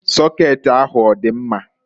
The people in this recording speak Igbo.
Sokeeti ahụ ọdị mma?